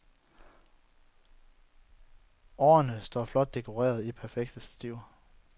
Årene står flot dekorerede i perfekte stativer.